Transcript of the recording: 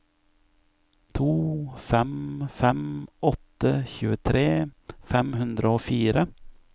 to fem fem åtte tjuetre fem hundre og fire